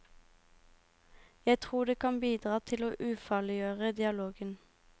Jeg tror det kan bidra til å ufarliggjøre dialogen.